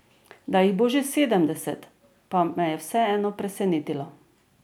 Da jih bo že sedemdeset, pa me je vseeno presenetilo.